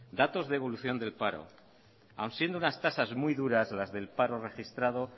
datos de evolución del paro aun siendo unas tasas muy duras las del paro registrado